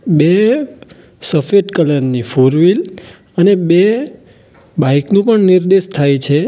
બે સફેદ કલર ની ફોરવીલ અને બે બાઈક નો પણ નિર્દેશ થાય છે.